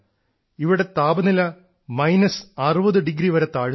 ഇവിടെ താപനില minus 60 degree വരെ താഴുന്നു